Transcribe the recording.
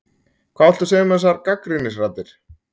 Hvað viltu segja um þessar gagnrýnisraddir?